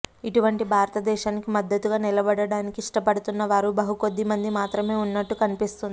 ఇటువంటి భారతదేశానికి మద్దతుగా నిలబడటానికి ఇష్టపడుతున్న వారు బహు కొద్ది మంది మాత్రమే ఉన్నట్టు కనిపిస్తుంది